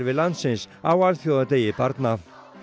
landsins á alþjóðadegi barna